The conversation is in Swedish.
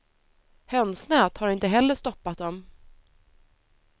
Hönsnät har inte heller stoppat dem.